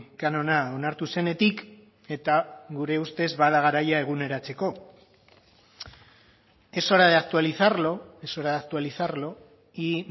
kanona onartu zenetik eta gure ustez bada garaia eguneratzeko es hora de actualizarlo es hora de actualizarlo y